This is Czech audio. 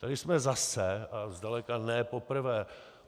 Tady jsme zase, a zdaleka ne poprvé.